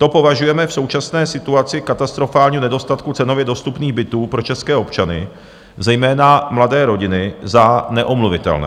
To považujeme v současné situaci katastrofálního nedostatku cenově dostupných bytů pro české občany, zejména mladé rodiny, za neomluvitelné.